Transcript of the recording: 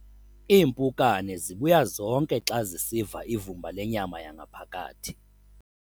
Iimpukane zibuya zonke xa zisiva ivumba lenyama yangaphakathi.